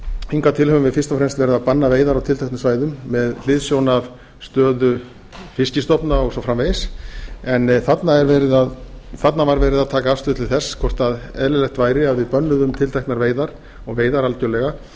hingað til höfum við fyrst og fremst verið að banna veiðar á tilteknum svæðum með hliðsjón af stöðu fiskstofna og svo framvegis en þarna var verið að taka afstöðu til þess hvort eðlilegt væri að við bönnuðum tilteknar veiðar og veiðar algjörlega